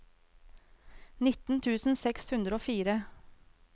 nitten tusen seks hundre og fire